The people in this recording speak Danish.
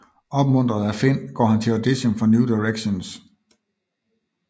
Opmuntret af Finn går han til audition for New Directions